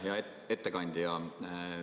Hea ettekandja.